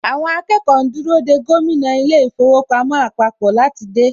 Àwọn akẹ́kọ̀ọ́ ń dúró dè gómìnà ilé īfowòpamó àpapò láti dé.